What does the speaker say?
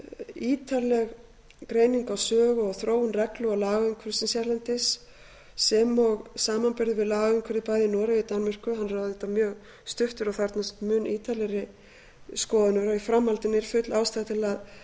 ítarleg greining á sögu og þróun reglu og lagaumhverfisins hérlendis sem og samanburður við lagaumhverfið bæði í noregi og danmörku hann er auðvitað mjög stuttur og þarfnast mun ítarlegri skoðunar og í framhaldinu er full ástæða til